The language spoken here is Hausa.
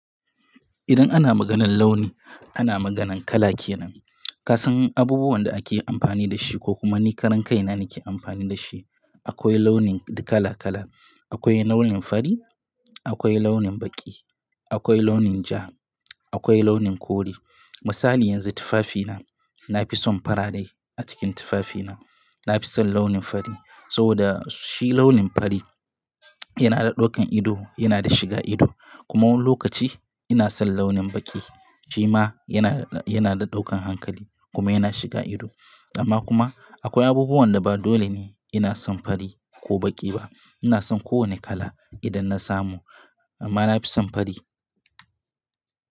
Idan ana maganan launi ana maganan kala kenan. Kasan abubuwan da ake amfani da shi ko kuma nikaran kai na ni ke amfani da shi. Akwai launin kala kala. Akwai launin fari, akwai launin baƙi, akwai launin ja, akwai launin kore. Misali yanzu tufafina, na fi son farare a cikin tufafina. Na fi son launin fari saboda shi launin fari yana da ɗaukan ido, yana da shiga ido. Kuma wani lokaci ina son launin baƙi. Shi ma yana, yana da ɗaukan hankali kuma yana shiga ido. Amma kuma akwai abubuwan da ba dole ne ina son fari ko baƙi ba. Ina son kowane kala idan na samu amma na fi son fari.